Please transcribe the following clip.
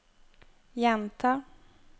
gjenta